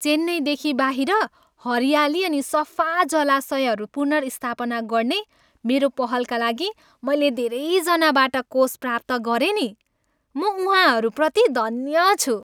चेन्नईदेखि बाहिर हरियाली अनि सफा जलाशयहरू पुनर्स्थापना गर्ने मेरो पहलका लागि मैले धेरैजनाबाट कोष प्राप्त गरेँ नि। म उहाँहरूप्रति धन्य छु।